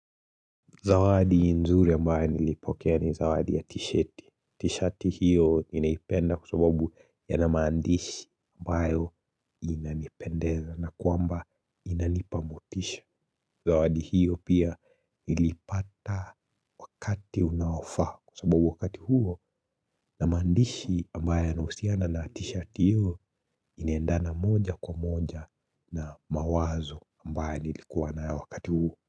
Zawadi nzuri ambayo nilipokea ni zawadi ya t-shirti. T-shirti hiyo ninaipenda kwa sababu yana maandishi ambayo inanipendeza na kwamba inanipa motisha. Zawadi hiyo pia nilipata wakati unaofaa kwa sababu wakati huo na maandishi ambayo yanahusiana na t-shirti hiyo inaendana moja kwa moja na mawazo ambayo nilikuwa nayo wakati huo.